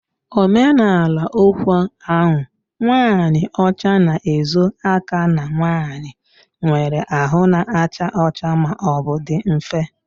Omenala okwu ahụ"nwanyị ọcha na-ezo aka na nwanyị nwere ahụ na-acha ọcha ma ọ bụ dị nfe"